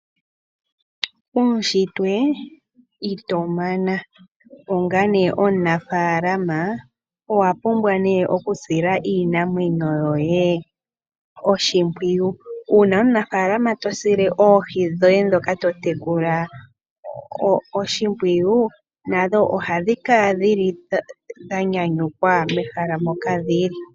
Uushitwe ito mana. Onga omunafaalama owapumbwa okusila iinamwenyo yoye oshimpwiyu . Uuna omunafaalama tosile oohi dhoye totekula oshimpwiyu nadho ohadhi kala dha nyanyukwa mehala moka dhili.